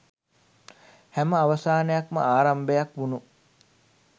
හැම අවසානයක්ම ආරම්භයක් වුණු